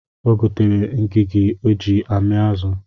O getere Ngigi o ji ami azụ